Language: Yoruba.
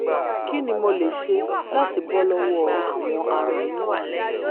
kí ni mo lè ṣe láti bọ́ lọ́wọ́ àwọn aràn inú?